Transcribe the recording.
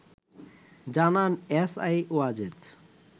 জানান এসআই ওয়াজেদ